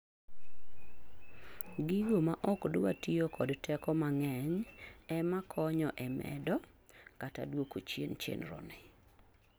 gigo maok dwa tiyo kod teko mang'eny ema konyo e medo kata duoko chien chenro ni